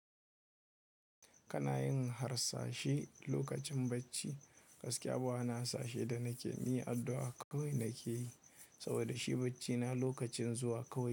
Kana yin harsashi lokacin bacci, gaskiya bana ha sashe da na ke yi addu'a kawai na ke yi saboda shi baccina lokacin zuwa kawai.